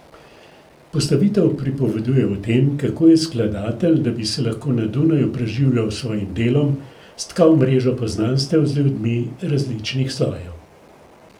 Postavitev pripoveduje o tem, kako je skladatelj, da bi se lahko na Dunaju preživljal s svojim delom, stkal mrežo poznanstev z ljudmi različnih slojev.